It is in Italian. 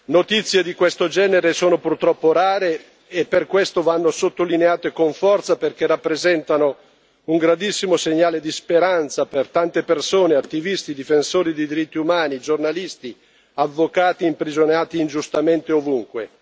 Notizie di questo genere sono purtroppo rare e per questo vanno sottolineate con forza, perché rappresentano un grandissimo segnale di speranza per tante persone attivisti, difensori dei diritti umani, giornalisti o avvocati imprigionati ingiustamente ovunque.